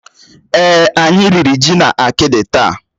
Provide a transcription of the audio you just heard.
Èé, anyị riri ji na akidi taa.